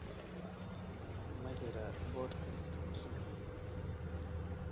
Ma jiraa podcast cusub?